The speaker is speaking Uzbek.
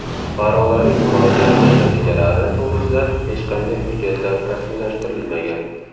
Fuqarolarning murojaati natijalari to‘g‘risida hech qanday hujjatlar rasmiylashtirilmagan.